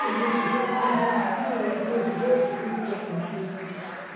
Conheço Joconde, uma figura, Em prosa e verso fez meu louco intento.